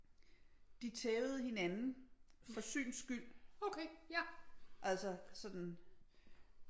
De tævede hinanden for syns skyld altså sådan